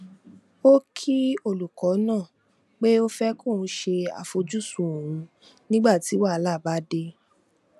ó kí olùkọ náà pé ó fẹ kóun ṣe àfojúsùn òun nígbà tí wàhálà bá dé